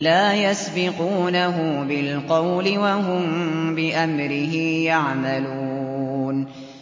لَا يَسْبِقُونَهُ بِالْقَوْلِ وَهُم بِأَمْرِهِ يَعْمَلُونَ